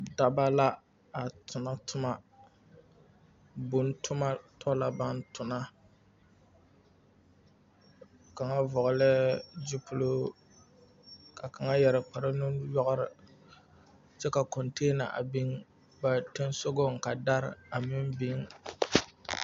Dɔba la a tona toma boŋ toma tɔ la baŋ tona kaŋa vɔglɛɛ gyupiluu ka kaŋa yɛre kparnuyɔgre kyɛ ka container biŋ ba soŋsogaŋ ka dari meŋ biŋ.